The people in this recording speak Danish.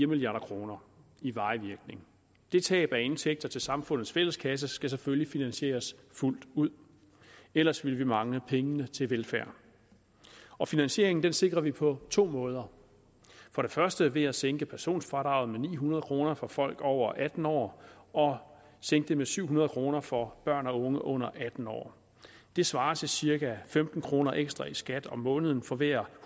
milliard kroner i varig virkning det tab af indtægter til samfundets fælles kasse skal selvfølgelig finansieres fuldt ud ellers ville vi mangle pengene til velfærd og finansieringen sikrer vi på to måder for det første ved at sænke personfradraget med ni hundrede kroner for folk over atten år og sænke det med syv hundrede kroner for børn og unge under atten år det svarer til cirka femten kroner ekstra i skat om måneden for hver